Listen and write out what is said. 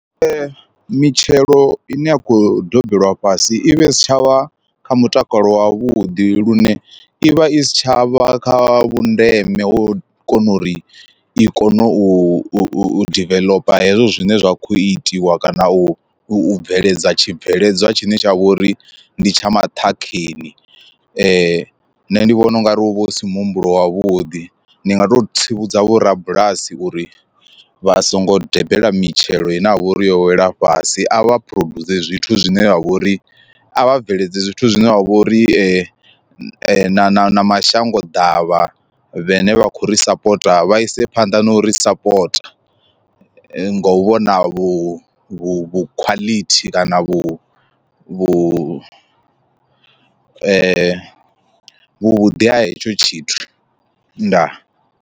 Mitshelo ine ya khou dobela fhasi i vha i si tshavha kha mutakalo wa vhuḓi lune i vha i si tshavha kha vhundeme hu kone uri i kone u diveḽopa hezwo zwine zwa kho itiwa kana u u bveledza tshibveledzwa tshine tsha vhori ndi tsha maṱhakheni. Nṋe ndi vhona ungari hu vha hu si muhumbulo wavhuḓi ndi nga to tsivhudza vho rabulasi uri vha songo dobela mitshelo ine ya vha uri yo wela fhasi a vha phurodzhuse zwithu zwine zwa vhori a vha bveledze zwithu zwine wa vha uri na na na mashango ḓavha vhane vha khou ri sapota vha ise phanḓa na u ri sapota, ngo vhona vhu vhu khwaḽithi kana vhu vhu vhuḓi ha hetsho tshithu ndaa.